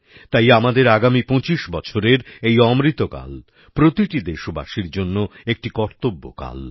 তাই আমাদের আগামী ২৫ বছরের এই অমৃত কাল প্রতিটি দেশবাসীর জন্য একটি কর্তব্যকাল